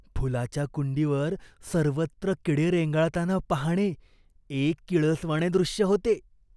फुलाच्या कुंडीवर सर्वत्र किडे रेंगाळताना पाहणे एक किळसवाणे दृश्य होते.